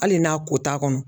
Hali n'a ko t'a kɔnɔ.